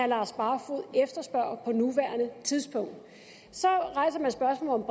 lars barfoed efterspørger på nuværende tidspunkt så rejser man spørgsmålet